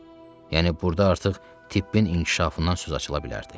Yəni burda artıq tibbin inkişafından söz açıla bilərdi.